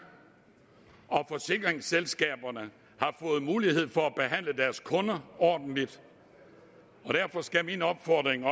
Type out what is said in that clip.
og at forsikringsselskaberne har fået mulighed for at behandle deres kunder ordentligt og derfor skal min opfordring